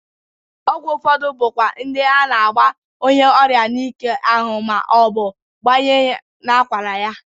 Ọgwụ ụfọdụ bụkwa ndị a na-agba onyeọrịa n'ike ahụ ma ọ bụ gbanye n'akwara ya.